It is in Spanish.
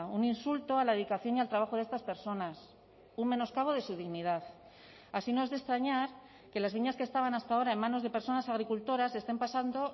un insulto a la dedicación y al trabajo de estas personas un menoscabo de su dignidad así no es de extrañar que las viñas que estaban hasta ahora en manos de personas agricultoras estén pasando